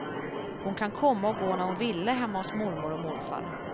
Hon kan komma och gå när hon ville hemma hos mormor och morfar.